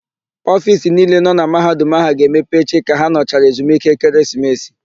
Ofiisi niile nọ na Mahadum áhụ̀ ga-emepe echi ka ha nọchara ezumike ekeresimesi.